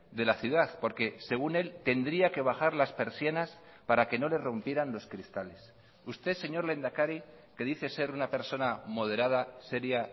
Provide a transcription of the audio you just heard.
de la ciudad porque según él tendría que bajar las persianas para que no le rompieran los cristales usted señor lehendakari que dice ser una persona moderada seria